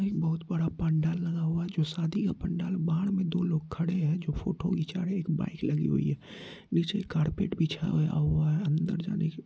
एक बहुत बड़ा पंडाल लगा हुआ है जो शादी का पंडाल बाहर में दो लोग खड़े हैं जो फोटो खींचा रहे हैं एक बाइक लगी हुई है नीचे कारपेट बिछा हुआ है अंदर जाने की--